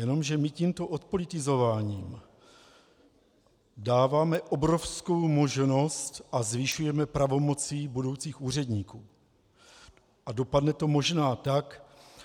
Jenomže my tímto odpolitizováním dáváme obrovskou možnost a zvyšujeme pravomoci budoucích úředníků a dopadne to možná tak,